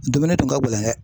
Dumuni tun ka gɛlɛn dɛ.